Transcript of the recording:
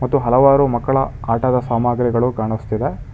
ಮತ್ತು ಹಲವಾರು ಮಕ್ಕಳ ಆಟದ ಸಾಮಗ್ರಿಗಳು ಕಾಣಿಸುತ್ತಿದೆ.